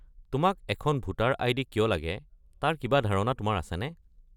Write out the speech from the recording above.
তোমাক এখন voter ID. কিয় লাগে তাৰ কিবা ধাৰণা তোমাৰ আছেনে?